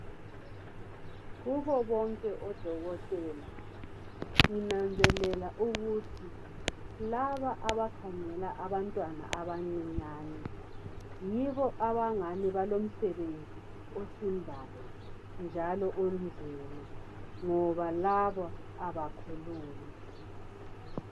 Kubo bonke odokotela, nginanzelela ukuthi laba abakhangela abantwana abancinyane , yibo abangani balomsebenzi osindayo njalo onzima, ngoba labo abakhulumi.